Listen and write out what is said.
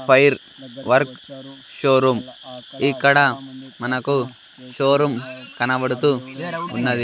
Fire work showroom ఇక్కడ మనకు showroom కనపడుతూ ఉన్నది.